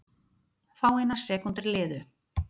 Fáeinar sekúndur liðu.